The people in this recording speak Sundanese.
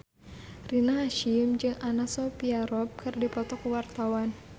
Rina Hasyim jeung Anna Sophia Robb keur dipoto ku wartawan